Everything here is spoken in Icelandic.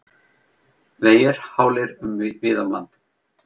Vegir hálir víða um land